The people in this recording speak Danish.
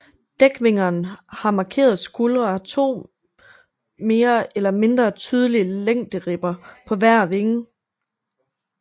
Dækvingerne har markerede skuldre og har to mere eller mindre tydelige længderibber på hver vinge